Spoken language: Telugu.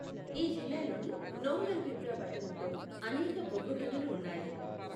ఈ జిల్లాలోని నోంగల్బిబ్రా పట్టణంలో అనేక బొగ్గు గనులు ఉన్నాయి.